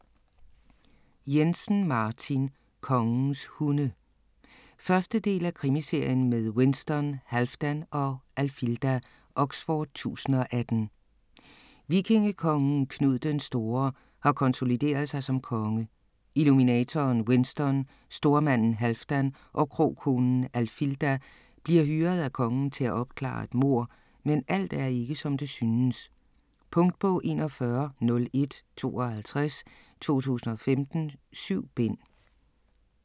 Jensen, Martin: Kongens hunde 1. del af Krimiserien med Winston, Halfdan og Alfilda. Oxford 1018. Vikingekongen Knud den Store har konsolideret sig som konge. Illuminatoren Winston, stormanden Halfdan og krokonen Alfilda bliver hyret af kongen til at opklare et mord, men alt er ikke, som det synes. Punktbog 410152 2015. 7 bind.